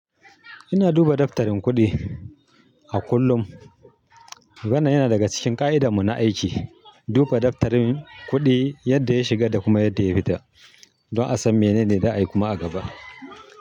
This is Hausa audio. Ina duba daftarin kuɗi a kullum. Wannan yana daga cikin ƙa'idamun na aiki. Duba daftarin kuɗi yadda ya shiga da kuma yadda ya fita don a san menene za'a yi kuma a gaba.